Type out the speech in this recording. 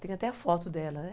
Tem até a foto dela, né?